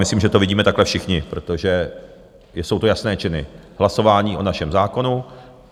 Myslím, že to vidíme takhle všichni, protože jsou to jasné činy, hlasování o našem zákonu.